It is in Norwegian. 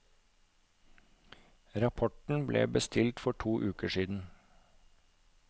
Rapporten ble bestilt for to uker siden.